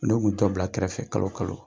Dɔw b'u dɔ bila kɛrɛfɛ kalo kalo.